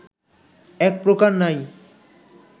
একপ্রকার নাই